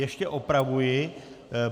Ještě opravuji.